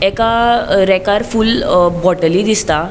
एका रेकार अ फूल बोटली दिसता.